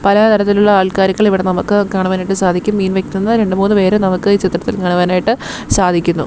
പലതരത്തിലുള്ള ആൾക്കാരുകളെ ഇവിടെ നമുക്ക് കാണുവാനായിട്ട് സാധിക്കും മീൻ വിക്കുന്ന രണ്ട് മൂന്ന് പേരെ ഈ ചിത്രത്തിൽ നമുക്ക് കാണുവാനായിട്ട് സാധിക്കുന്നു.